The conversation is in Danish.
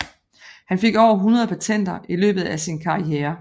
Han fik over 100 patenter i løbet af sin karriere